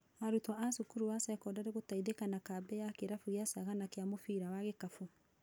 Arutwo a cukuru wa cekondarĩ gũteithĩka na kambĩ ya kĩrabu kĩa Sagana kĩa mũbira wa gĩkabũ .